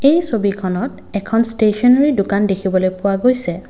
এই ছবিখনত এখন ষ্টেচনাৰী দোকান দেখিবলৈ পোৱা গৈছে।